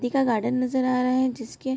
का गार्डन नजर आ रहा है जिसके --